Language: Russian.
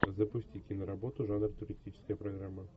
запусти киноработу жанр туристическая программа